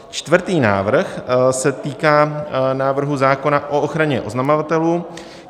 Čtvrtý návrh se týká návrhu zákona o ochraně oznamovatelů.